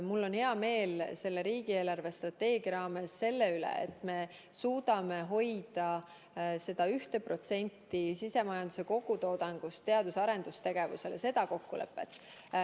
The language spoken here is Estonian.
Mul on hea meel selle riigi eelarvestrateegia raames selle üle, et me suudame hoida seda kokkulepet, et 1% sisemajanduse kogutoodangust läheb teadus- ja arendustegevusele.